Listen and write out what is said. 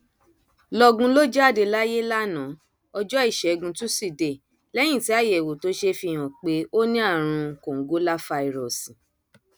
lọgun ló jáde láyé lánàá ọjọ ìṣẹgun túṣídéé lẹyìn tí àyẹwò tó ṣe fi hàn pé ó ní àrùn kòǹgóláfàírọọsì